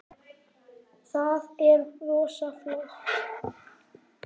Það er rosa flott.